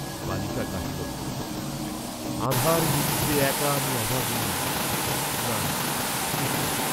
বালিকা গাহিল, আঁধার নিশীথে একা আমি অভাগিনী, না, একি!